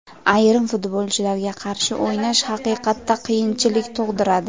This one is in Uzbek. Ayrim futbolchilarga qarshi o‘ynash haqiqatda qiyinchilik tug‘diradi.